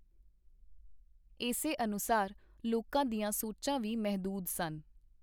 ਏਸੇ ਅਨੁਸਾਰ ਲੋਕਾਂ ਦੀਆਂ ਸੋਚਾਂ ਵੀ ਮਹਿਦੂਦ ਸਨ.